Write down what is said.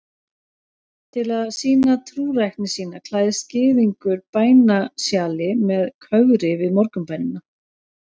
Til að sýna trúrækni sína klæðist gyðingur bænasjali með kögri við morgunbænina.